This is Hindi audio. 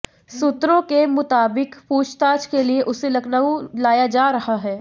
सूत्रों के मुताबिक पूछताछ के लिए उसे लखनऊ लाया जा रहा है